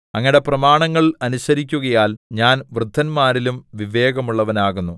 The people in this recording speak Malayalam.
അങ്ങയുടെ പ്രമാണങ്ങൾ അനുസരിക്കുകയാൽ ഞാൻ വൃദ്ധന്മാരിലും വിവേകമുള്ളവനാകുന്നു